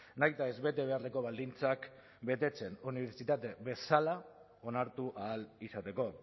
nahitaez bete beharreko baldintzak betetzen unibertsitate bezala onartu ahal izateko